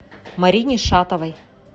марине шатовой